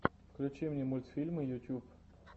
включи мне мультфильмы ютюб